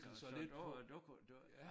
Så du øh du kunne du